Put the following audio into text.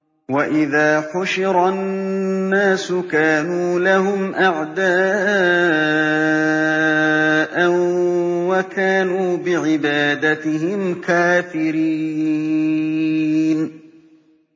وَإِذَا حُشِرَ النَّاسُ كَانُوا لَهُمْ أَعْدَاءً وَكَانُوا بِعِبَادَتِهِمْ كَافِرِينَ